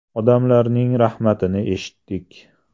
Odamlarning rahmatini eshitdik.